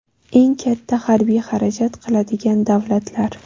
Eng katta harbiy xarajat qiladigan davlatlar.